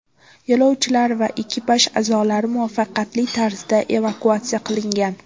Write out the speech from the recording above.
Yo‘lovchilar va ekipaj a’zolari muvaffaqiyatli tarzda evakuatsiya qilingan.